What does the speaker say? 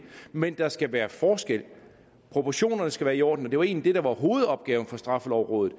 men der skal være forskel proportionerne skal være i orden og det var egentlig det der var hovedopgaven for straffelovrådet